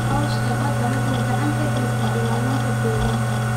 Cawska badda wuxuu gacan ka geystaa ilaalinta deegaanka.